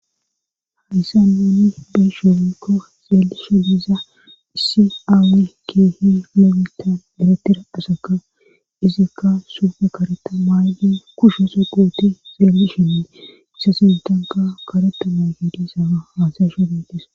Hadyssan uni bees sheomikko xeelisho diiza issi aawi keehi leemita geratira asaka izikka sufe kareta maaydi kushe so qooti xeelishinne issa sintanka kareta maaygidisara haasaysho netis.